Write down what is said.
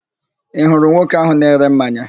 Ị hụrụ nwoke ahụ na-ere mmanya?